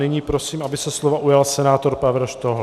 Nyní prosím, aby se slova ujal senátor Pavel Štohl.